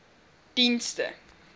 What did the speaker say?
dienste